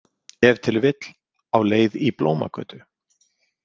Ef til vill á leið í Blómagötu.